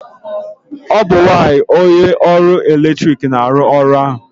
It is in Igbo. ọ bụ nwanyị onye ọrụ eletrik na-arụ ọrụ ahụ